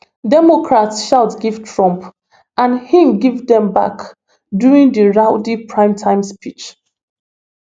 democrats shout give trump and im too give dem back during di rowdy primetime speech